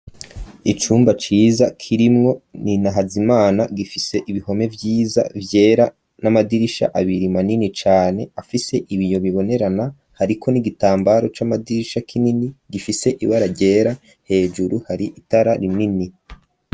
Icumba ciza kirimwo ni nahazimana gifise ibihome vyiza vyera n'amadirisha abiri manini cane afise ibiyo bibonerana hariko n'igitambaro cy'amadirisha kinini gifise ibara gera hejuru hari itara rinini.